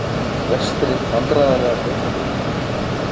Lestri Vandræðalegasta augnablik?